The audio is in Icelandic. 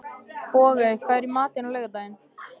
Bogey, hvað er í matinn á laugardaginn?